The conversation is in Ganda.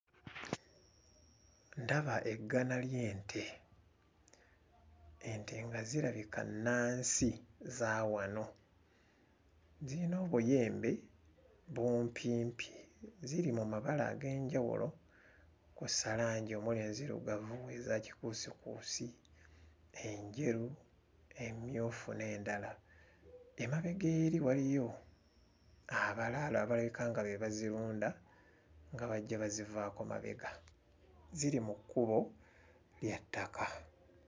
Ndaba eggana ly'ente ente nga zirabika nnansi za wano ziyina obuyembe bumpimpi ziri mu mabala ag'enjawulo kw'ossa langi omuli enzirugavu, eza kikuusikuusi, enjeru emmyufu n'endala emabega eri waliyo abalaalo abalabika nga be bazirunda nga bajja bazivaako mabega ziri mu kkubo lya ttaka.